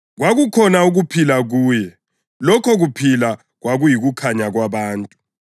Kwakukhona ukuphila kuye, lokho kuphila kwakuyikukhanya kwabantu.